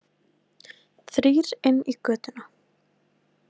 Þrír inn í götuna.